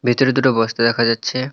ভিতরে দুটো বস্তা দেখা যাচ্ছে।